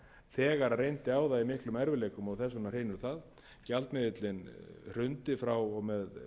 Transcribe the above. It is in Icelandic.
þegar reyndi á það í miklum erfiðleikum og þess vegna hrynur það gjaldmiðillinn hrundi frá og með